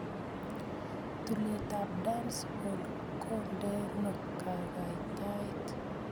tulet ap dancehall kondeno kakaikaet